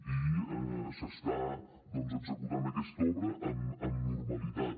i s’està doncs executant aquesta obra amb normalitat